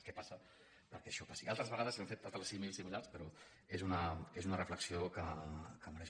què passa perquè això passi altres vegades hem fet altres símils similars però és una reflexió que mereix